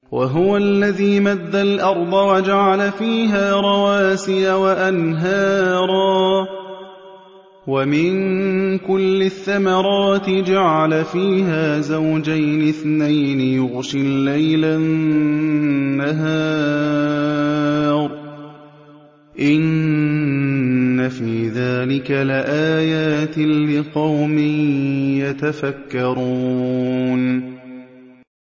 وَهُوَ الَّذِي مَدَّ الْأَرْضَ وَجَعَلَ فِيهَا رَوَاسِيَ وَأَنْهَارًا ۖ وَمِن كُلِّ الثَّمَرَاتِ جَعَلَ فِيهَا زَوْجَيْنِ اثْنَيْنِ ۖ يُغْشِي اللَّيْلَ النَّهَارَ ۚ إِنَّ فِي ذَٰلِكَ لَآيَاتٍ لِّقَوْمٍ يَتَفَكَّرُونَ